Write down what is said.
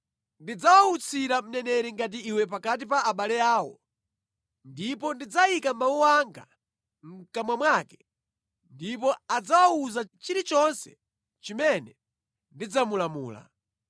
Ndidzawawutsira mneneri ngati iwe pakati pa abale awo ndipo ndidzayika mawu anga mʼkamwa mwake ndipo adzawawuza chilichonse chimene ndidzamulamula.